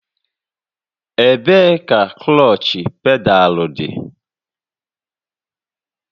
Ebee ka klọọchị pedaalụ dị?